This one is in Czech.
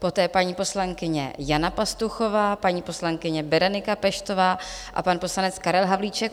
Poté paní poslankyně Jana Pastuchová, paní poslankyně Berenika Peštová a pan poslanec Karel Havlíček.